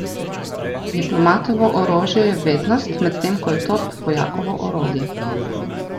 Diplomatovo orožje je vednost, medtem ko je top vojakovo orodje!